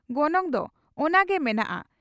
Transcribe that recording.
ᱜᱚᱱᱚᱝ ᱫᱚ ᱚᱱᱟ ᱜᱮ ᱢᱮᱱᱟᱜᱼᱟ ᱾